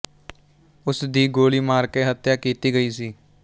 ਉਸ ਦੀ ਗੋਲੀ ਮਾਰਕੇ ਹਤਿਆ ਕੀਤੀ ਗਈ ਸੀ